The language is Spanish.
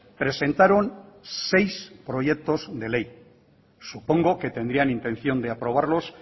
presentaron seis proyectos de ley supongo que tendrían intención de aprobarlos